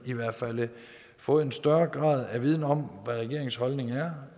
i hvert fald har fået en større grad af viden om hvad regeringens holdning er